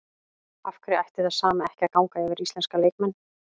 Af hverju ætti það sama ekki að ganga yfir íslenska leikmenn?